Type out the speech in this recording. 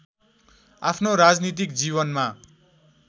आफ्नो राजनीतिक जीवनमा